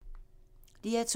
DR2